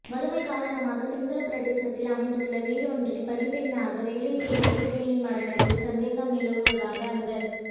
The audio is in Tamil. வறுமை காரணமாக சிங்களப் பிரதேசத்தில் அமைந்துள்ள வீடொன்றில் பணிப்பெண்ணாக வேலை செய்த சிறுமியின் மரணத்தில் சந்தேகம் நிலவுவதாக அந்தச்